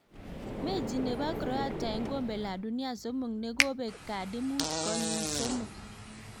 Mechi nebo Croatia en kombe la dunia somok ne kobek kadi mut konyik somok.